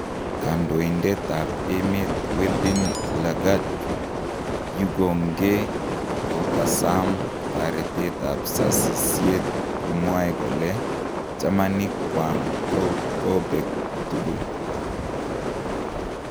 Kandoitet ap emet weldn langat yugongee kokasam taretet ap sasisiet komwae kole jamanik kwang ko kopek tugul